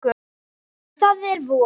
Það er von.